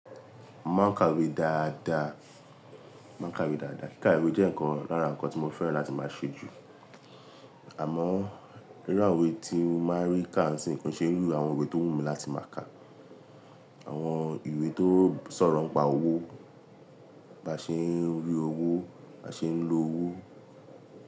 Mo máa ń ka ìwé dáadáa, kíka ìwé jẹ́ nǹkan lára nǹkan tí mo fẹ́ràn láti máa ṣe jù. Àmọ́, irú àwọn ìwé tí mo máa ń rí káà nsín kọn ṣeru àwọn ìwé tó wù mí láti máa kà. Àwọn ìwé tó sọ̀rọ̀ ń pa owó, bá ṣe ń rí owó, bá ṣe ń lo owó.